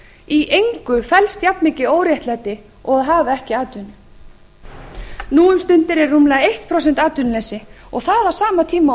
í engu felst jafnmikið óréttlæti og að hafa ekki atvinnu nú um stundir er rúmlega eitt prósent atvinnuleysi og það á sama tíma og vinnuafl er flutt